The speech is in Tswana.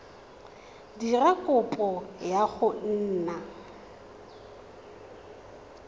dira kopo ya go nna